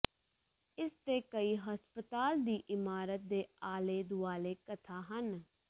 ਇਸ ਦੇ ਕਈ ਹਸਪਤਾਲ ਦੀ ਇਮਾਰਤ ਦੇ ਆਲੇ ਦੁਆਲੇ ਕਥਾ ਹਨ